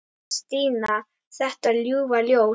Stína, þetta ljúfa ljós.